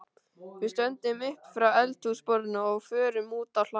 Við stöndum upp frá eldhúsborðinu og förum út á hlað.